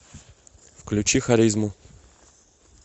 включи харизму